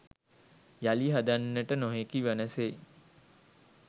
යළි හදන්නට නොහැකි වන සේ